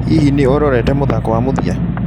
Hihi, nĩ ũrorete mũthako wa mũthia?